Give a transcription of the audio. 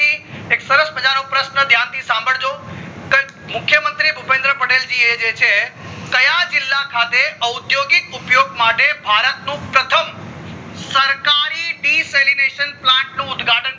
પછી એક સરસ મજાનો પ્રશ્ન ધ્યાન થી સંભાળજ કે મુખ્ય મંત્રી ભૂપત પટેલ જી જે છે ક્યાં જીલ્લા ખાતે ઔધ્યોતિક ઉપયોગ માટે ભારત નું પ્રથમ સસ્ર્કારી deceleration નું plant ઉદ્ઘાટન